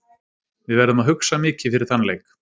Við verðum að hugsa mikið fyrir þann leik.